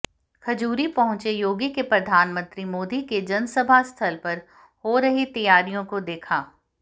खजूरी पहुंचे योगी ने प्रधानमंत्री मोदी के जनसभा स्थल पर हो रही तैयारियों को देखा